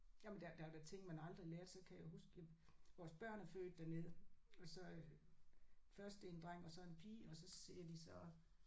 Jamen der der er da ting man aldrig lærte så kan jeg huske jamen vores børn er født dernede og så øh først en dreng og så en pige og så siger de så